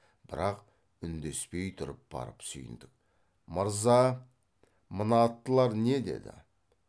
бірақ үндеспей тұрып барып сүйіндік мырза мына аттылар не деді